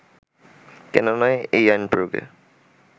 কেননা আইন প্রয়োগে